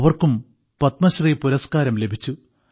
അവർക്കും പത്മശ്രീ പുരസ്കാരം ലഭിച്ചു